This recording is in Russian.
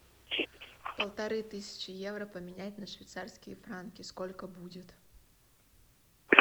полторы тысячи евро поменять на швейцарские франки сколько будет